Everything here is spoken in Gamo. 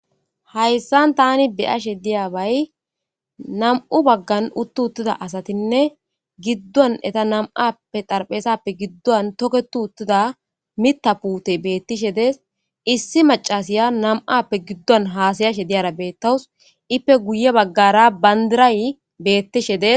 hayssan tani beyashe diyabay nam'u baggan uttu uttida asatinne giddon eta nam'appe xarpheesappe giddon toketu uttida mita puute beettishe dees issi macasiya nam'appe giddon haasayashe diyara beettawus ippe guye baggara bandiray beettishe des.